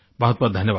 बहुतबहुत धन्यवाद